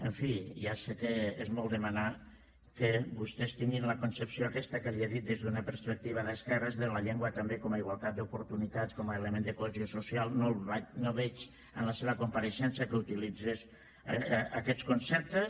en fi ja sé que és molt demanar que vostès tinguin la concepció aquesta que li he dit des d’una perspectiva d’esquerres de la llengua també com a igualtat d’oportunitats com a element de cohesió social no veig en la seva compareixença que utilitzés aquests conceptes